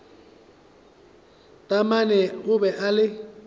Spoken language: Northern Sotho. taamane o be a le